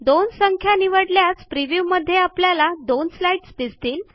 दोन संख्या निवडल्यास प्रिव्ह्यू मध्ये आपल्याला दोन स्लाईडस् दिसतील